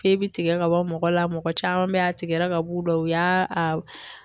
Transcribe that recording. bi tigɛ ka bɔ mɔgɔ la, mɔgɔ caman be yen a tigɛra ka b'u la, u y'a